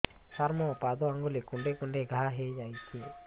ସାର ମୋ ପାଦ ଆଙ୍ଗୁଳି କୁଣ୍ଡେଇ କୁଣ୍ଡେଇ ଘା ହେଇଯାଇଛି